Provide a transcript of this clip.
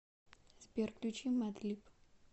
сбер включи мадлиб